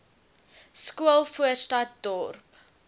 skool voorstad dorp